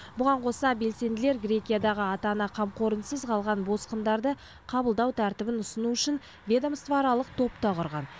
бұған қоса белсенділер грекиядағы ата ана қамқорынсыз қалған босқындарды қабылдау тәртібін ұсыну үшін ведомствоаралық топ та құрған